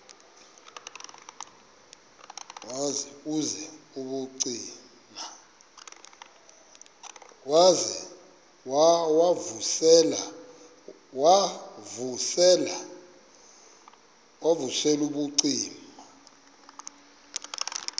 wav usel ubucima